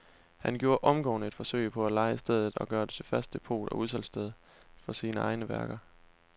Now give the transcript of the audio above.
Han gjorde omgående et forsøg på at leje stedet og gøre det til fast depot og udsalgssted for sine egne værker.